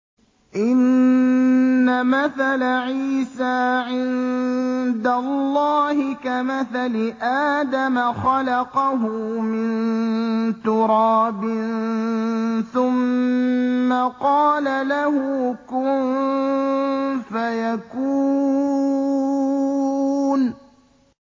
إِنَّ مَثَلَ عِيسَىٰ عِندَ اللَّهِ كَمَثَلِ آدَمَ ۖ خَلَقَهُ مِن تُرَابٍ ثُمَّ قَالَ لَهُ كُن فَيَكُونُ